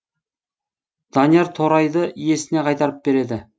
данияр торайды иесіне қайтарып береді